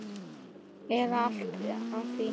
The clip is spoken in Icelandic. eða allt að því.